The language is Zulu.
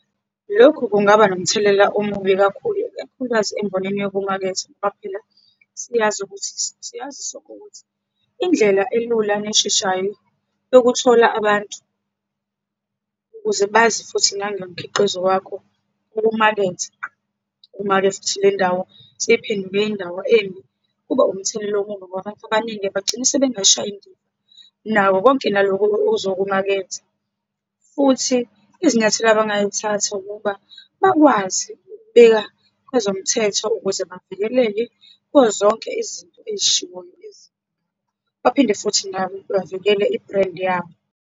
Lokhu kungaba nomthelela omubi kakhulu, ikakhulukazi embonini yokumaketha. Ngoba phela siyazi ukuthi, siyazi sonke ukuthi, indlela elula neshashayo yokuthola abantu ukuze bazi futhi nangomkhiqizo wakho okumakethe. Uma-ke futhi lendawo seyiphenduke indawo embi, kuba umthelelo omubi ngoba abantu abaningi bagcine sebengasayishayi indiva nakho konke lokho ozokumaketha. Futhi izinyathelo abangayithatha, ukuba bakwazi ukubika kwezomthetho ukuze bavikeleke kuzo zonke izinto ezishiwoyo lezi. Baphinde futhi nabo bavikele i-brand yabo.